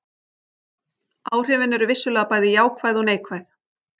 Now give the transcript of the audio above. Áhrifin eru vissulega bæði jákvæð og neikvæð.